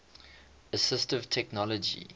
assistive technology